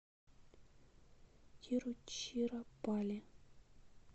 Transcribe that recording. тируччираппалли